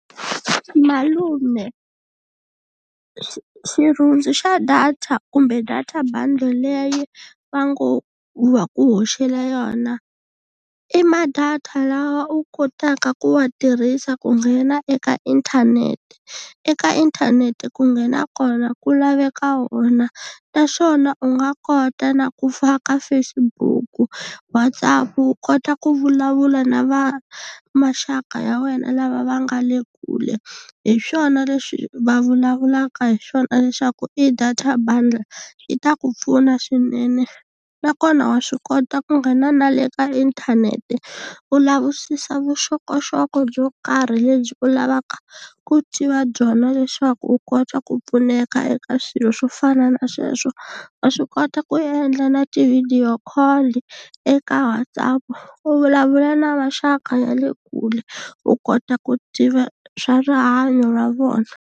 Malume xirhundzu xa data kumbe data bundle leyi va ngo va ku hoxela yona i ma data lawa u kotaka ku wa tirhisa ku nghena eka inthanete, eka inthanete ku nghena kona ku laveka wona naswona u nga kota na ku faka Facebook, WhatsApp u kota ku vulavula na va maxaka ya wena lava va nga le ku kule hi swona leswi va vulavulaka hi swona leswaku i data bundle yi ta ku pfuna swinene nakona wa swi kota ku nghena na le ka inthanete u lavisisa vuxokoxoko byo karhi lebyi u lavaka ku tiva byona leswaku u kota ku pfuneka eka swilo swo fana na sweswo wa swi kota ku endla na ti-video call eka WhatsApp u vulavula na maxaka ya le kule u kota ku tiva swa rihanyo ra vona.